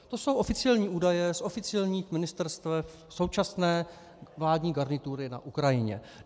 To jsou oficiální údaje z oficiálních ministerstev současné vládní garnitury na Ukrajině.